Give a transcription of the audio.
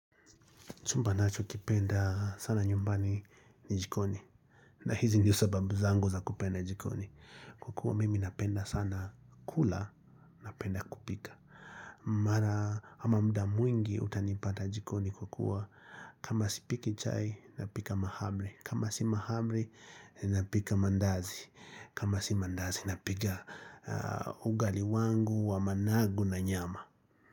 Chumba ninachokipenda sana nyumbani ni jikoni. Na hizi ndizo sababu zangu za kupenda jikoni. Kwa kuwa mimi napenda sana kula napenda kupika. Mara ama muda mwingi utanipata jikoni kwa kuwa kama sipiki chai napika mahamri. Kama si mahamri napika mandazi. Kama si mandazi napika ugali wangu wa managu na nyama.